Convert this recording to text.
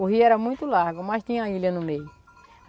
O rio era muito largo, mas tinha a ilha no meio.